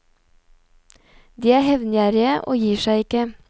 De er hevngjerrige og gir seg ikke.